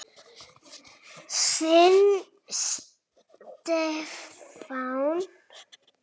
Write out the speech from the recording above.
Þinn Stefán.